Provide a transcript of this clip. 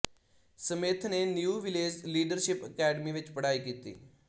Smith ਨੇ New Village Leadership Academy ਵਿੱਚ ਪੜ੍ਹਾਈ ਕੀਤੀ